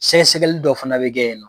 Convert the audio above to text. Sɛgɛ sɛgɛli dɔ fana bɛ kɛ